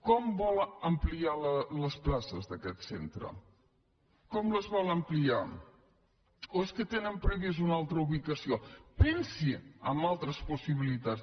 com vol ampliar les places d’aquest centre com les vol ampliar o és que tenen prevista una altra ubicació pensi en altres possibilitats